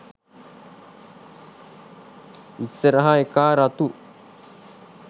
ඉස්සරහ එකා රතු